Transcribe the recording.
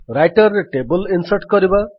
Writer ରେ table insert କରିବା